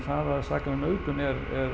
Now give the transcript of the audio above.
saka um nauðgun er